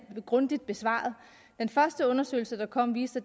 grundigt besvaret den første undersøgelse der kom viste